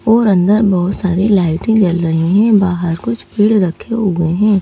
और अंदर बहुत सारी लाइटें जल रही हैं बाहर कुछ भीड़ रखे हुए हैं।